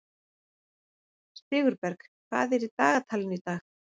Sigurberg, hvað er í dagatalinu í dag?